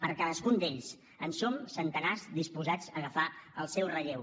per cadascun d’ells en som centenars disposats a agafar el seu relleu